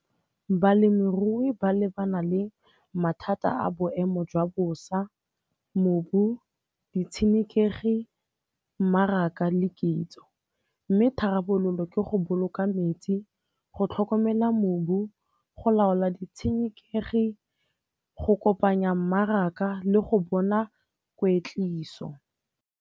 Balemirui ba lebana le mathata a boemo jwa bosa, mobu, ditshenekegi, mmaraka le kitso. Mme tharabololo ke go boloka metsi, go tlhokomela mobu, go laola ditshenekegi, go kopanya mmaraka le go bona kweetliso.